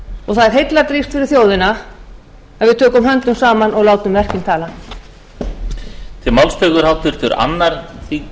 og það er heilladrýgst fyrir þjóðina að við tökum höndum saman og látum verkin tala